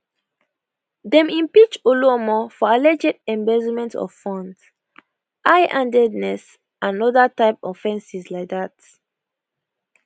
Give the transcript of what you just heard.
dem impeach oluomo for alleged embezzlement of funds high handedness and oda type offences like dat